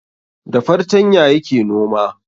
Da fartanya yake noma